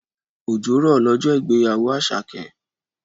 Òjò rọ̀ lọ́jọ́ ìgbéyàwó Àṣàkẹ́.